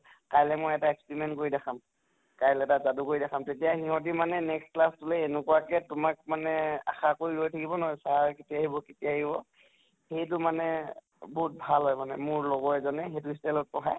কাইলৈ মই এটা experiment কৰি দেখাম । কাইলৈ এটা যাদু কৰি দেখাম, তেতিয়া সিহঁতি মানে next class তো লৈ এনেকুৱাকে তোমাক মানে আশা কৰি ৰৈ থাকিব নহয় sir কেতিয়া আহিব কেতিয়া আহিব, সেইটো মানে বহুত ভাল হয় মানে মোৰ লগত, মোৰ লগৰ এজনে সেইটো style ত পঢ়াই ।